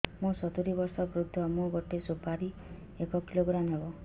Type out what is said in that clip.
ମୁଁ ସତୂରୀ ବର୍ଷ ବୃଦ୍ଧ ମୋ ଗୋଟେ ସୁପାରି ଏକ କିଲୋଗ୍ରାମ ହେବ